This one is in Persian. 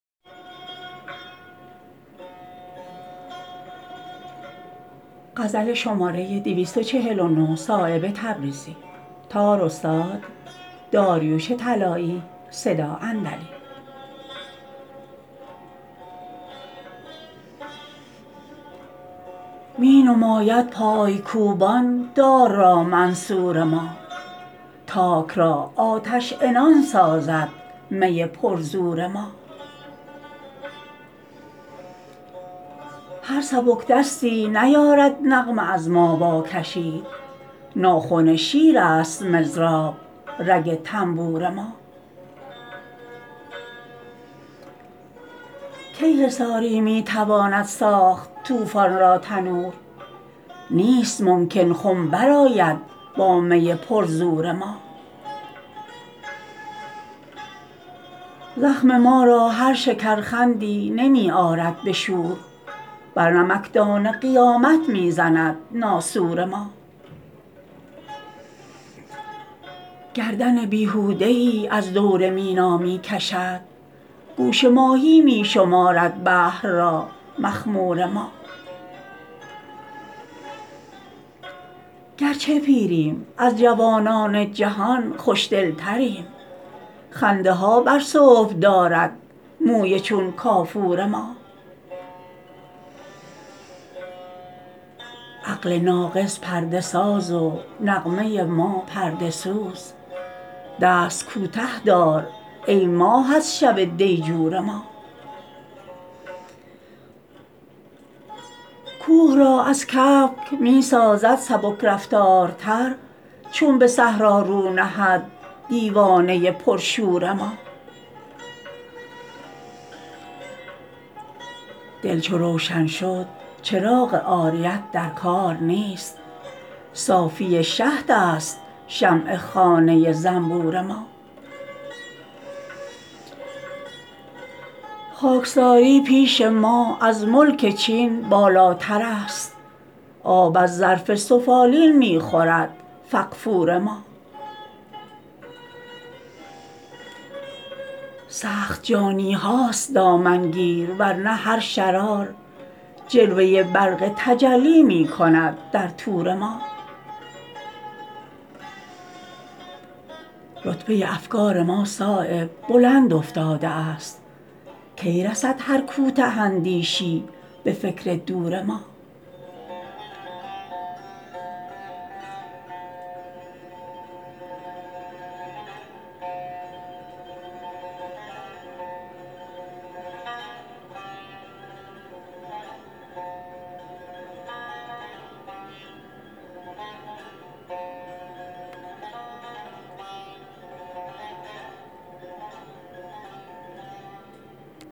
می نماید پایکوبان دار را منصور ما تاک را آتش عنان سازد می پر زور را هر سبکدستی نیارد نغمه از ما واکشید ناخن شیرست مضراب رگ طنبور ما کی حصاری می تواند ساخت طوفان را تنور نیست ممکن خم برآید با می پر زور ما زخم ما را هر شکرخندی نمی آرد به شور بر نمکدان قیامت می زند ناسور ما گردن بیهوده ای از دور مینا می کشد گوش ماهی می شمارد بحر را مخمور ما گرچه پیریم از جوانان جهان خوشدل تریم خنده ها بر صبح دارد موی چون کافور ما عقل ناقص پرده ساز و نغمه ما پرده سوز دست کوته دار ای ماه از شب دیجور ما کوه را از کبک می سازد سبکرفتارتر چون به صحرا رو نهد دیوانه پر شور ما دل چو روشن شد چراغ عاریت در کار نیست صافی شهدست شمع خانه زنبور ما خاکساری پیش ما از ملک چین بالاترست آب از ظرف سفالین می خورد فغفور ما سخت جانی هاست دامنگیر ورنه هر شرار جلوه برق تجلی می کند در طور ما رتبه افکار ما صایب بلند افتاده است کی رسد هر کوته اندیشی به فکر دور ما